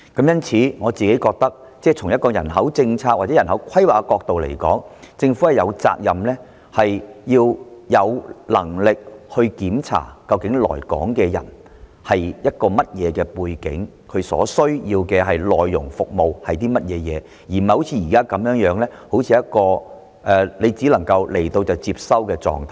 因此，我個人認為從人口政策或人口規劃的角度來看，政府有責任及有能力去檢視來港的人究竟有何背景，他們所需要服務的內容為何，而並非如目前一樣，當他們來港便只能接收的狀態。